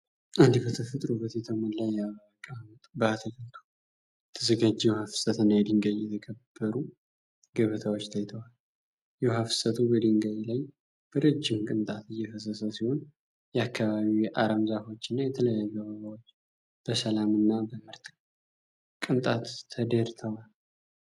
አንድ በተፈጥሮ ውበት የተሞላ የአበባ አቀማመጥ በየአትክልቱ የተዘጋጀ የውሃ ፍሰት እና የድንጋይ የተከበሩ ገበታዎች ታይተዋል። የውሃ ፍሰቱ በድንጋይ ላይ በረጅም ቅንጣት እየፈሰሰ ሲሆን፣ የአካባቢው የአረም ዛፎች እና የተለያዩ አበባዎች በሰላም እና በምርጥ ቅንጣት ተደርተዋል።